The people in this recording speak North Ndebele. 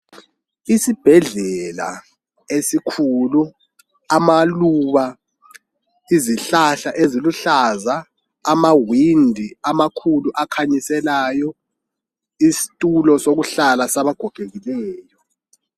Isibhedlela esikhulu amaluba , izihlahla eziluhlaza .Amawindi amakhulu akhanyiselayo ,isitulo sokuhlala sabagogekileyo.